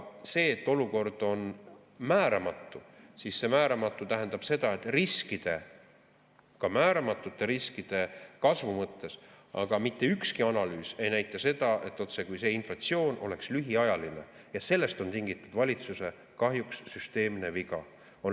See, et olukord on määramatu, tähendab seda, et riskide, ka määramatute riskide kasvu mõttes, aga mitte ükski analüüs ei näita seda, otsekui see inflatsioon oleks lühiajaline, ja sellest on kahjuks tingitud valitsuse süsteemne viga.